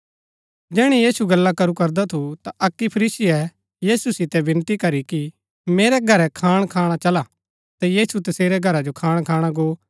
जैहणै यीशु गल्ला करू करदा थू ता अक्की फरीसीये यीशु सितै विनती करी कि मेरै घरै खाण खाणा चला ता यीशु तसेरै घरा जो खाण खाणा गो